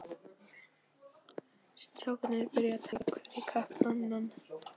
Strákarnir byrjuðu að tala hver í kapp við annan.